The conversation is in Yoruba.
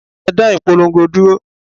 Ẹ dá ìpolongo dúró!